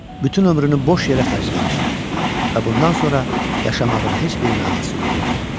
Bütün ömrünü boş yerə xərcləmişdi və bundan sonra yaşamağın heç bir mənası yox idi.